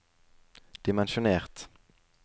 dimensjonert